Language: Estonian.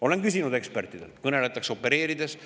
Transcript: Olen küsinud ekspertidelt, kõneletakse opereerides.